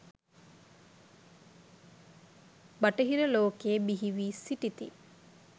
බටහිර ලෝකයේ බිහි වී සිටිති